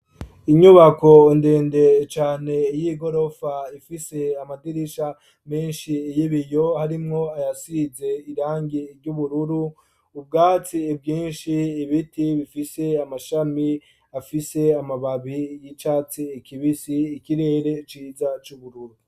Inyubako ndende cane y'igorofa ifise amadirisha menshi y'ibiyo harimwo ayasize irangi ry'ubururu, ubwatsi bwinshi, ibiti bifise amashami afise amababi y'icatsi kibisi, ikirere ciza c'ubururu.